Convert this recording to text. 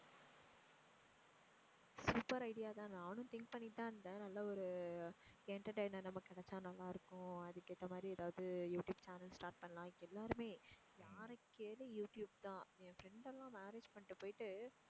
super idea தான். நானும் think பண்ணிட்டு தான் இருந்தேன் நல்லா ஒரு entertainer நமக்கு கிடைச்சா நல்லா இருக்கும். அதுக்கு ஏத்த மாதிரி எதாவது யூ ட்யூப் channel start பண்ணலாம். எல்லாருமே யாரை கேளு யூ ட்யூப் தான். என் friends எல்லாம் marriage பண்ணிட்டு போயிட்டு